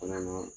Fana na